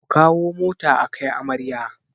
Ku kawo mota akai amarya